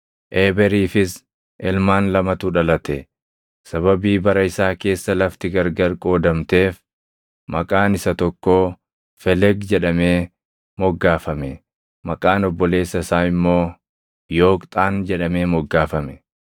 Eeberiifis ilmaan lamatu dhalate; sababii bara isaa keessa lafti gargar qoodamteef maqaan isa tokkoo Felegi jedhamee moggaafame; maqaan obboleessa isaa immoo Yooqxaan jedhamee moggaafame.